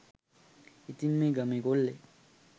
ඉතින් මේ ගමේ කෙල්ලෙක්